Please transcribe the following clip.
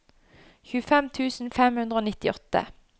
tjuefem tusen fem hundre og nittiåtte